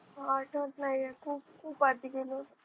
आठवत नाहीये खूप खूप आधी गेलो होतो.